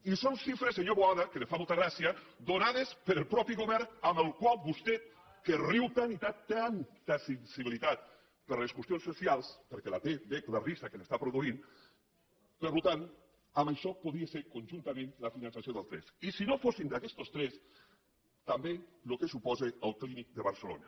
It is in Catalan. i són xifres senyor boada que li fa molta gràcia donades pel mateix govern amb el qual vostè que riu tant i tant té tanta sensibilitat per les qüestions socials perquè la té veig el riure que li està produint per tant amb això podria ser conjuntament el finançament dels tres i si no fossin d’aquestos tres també el que suposa el clínic de barcelona